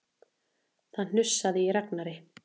Það hnussaði í Ragnari.